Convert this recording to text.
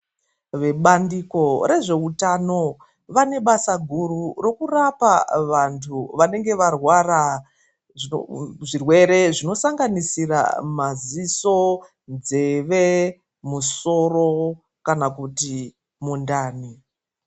Vebandiko rezveutano vane basa guru rokurapa vantu vanenge varwara zvirwere zvinosanganisira maziso, nzeve, musoro kana kuti mundani.